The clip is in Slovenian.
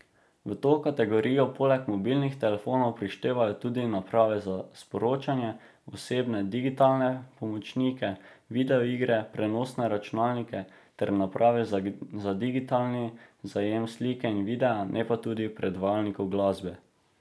V to kategorijo poleg mobilnih telefonov prištevajo tudi naprave za sporočanje, osebne digitalne pomočnike, videoigre, prenosne računalnike ter naprave za digitalni zajem slike in videa, ne pa tudi predvajalnikov glasbe.